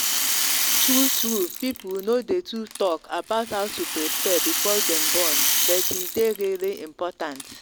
true truepeople no day too talk about how to prepare before them born. but e day really important